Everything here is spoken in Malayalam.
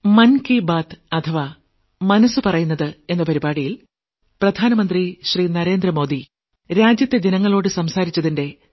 ന്യൂഡൽഹി 28 ജനുവരി 2024